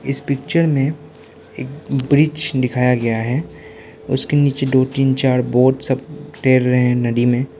इस पिक्चर में एक ब्रिज दिखाया गया है उसके नीचे दो तीन चार वोट सब तैर रहे हैं नदी में।